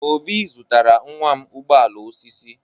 Obi zụtara nwa m ụgbọ ala osisi.